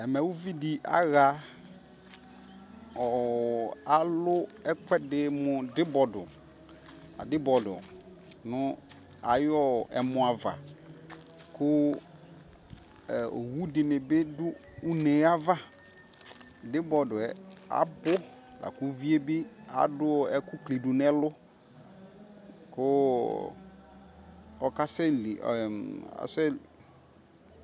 ɛmɛ ʋvidi aha, alʋɛkʋɛdi mʋ dibɔdʋ, adibɔlʋ nʋ ayiɔ ɛmʋa aɣa kʋ ɔwʋ dini bi dʋ ʋnɛ aɣa, dibɔdʋɛ abʋ lakʋ ʋviɛ bi adʋ ɛkʋ klidʋ nʋ ɛlʋ kʋ ɔkasɛ li